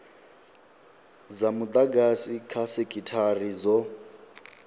dza mudagasi kha sekithara dzo